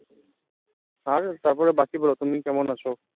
আর তারপরে বাকি বলো, তুমি কেমন আছে